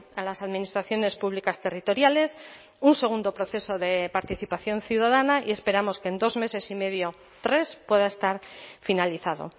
a las administraciones públicas territoriales un segundo proceso de participación ciudadana y esperamos que en dos meses y medio tres pueda estar finalizado